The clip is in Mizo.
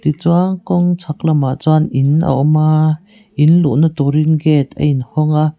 tichuan kawng chhak lamah chuan in a awm aaa in luhna turin gate a in hawng a.